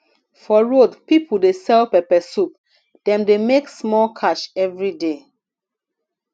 for road people dey sell pepper soup dem dey make small cash every day